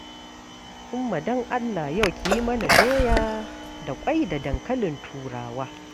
Umma don Allah yau ki yi mana doya da ƙwai da dankalin Turawa.